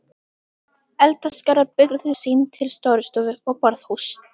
Eldaskálar byrgðu sýn til Stórustofu og borðhúss.